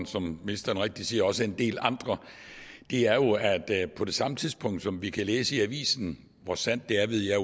som ministeren siger også en del andre er jo at på det samme tidspunkt som vi kan læse i avisen hvor sandt det er ved jeg